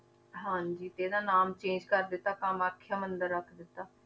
ਹਾਂਜੀ ਤੇ ਇਹਦਾ ਨਾਮ change ਕਰ ਦਿੱਤਾ ਕਮਾਥਿਆ ਮੰਦਿਰ ਰੱਖ ਦਿੱਤਾ।